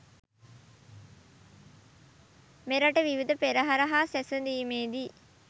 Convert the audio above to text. මෙරට විවිධ පෙරහර හා සැසදීමේදී